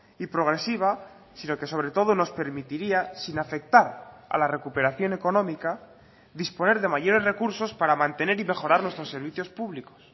y progresiva sino que sobre todo nos permitiría sin afectar a la recuperación económica disponer de mayores recursos para mantener y mejorar nuestros servicios públicos